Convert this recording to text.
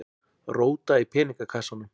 Róta í peningakassanum.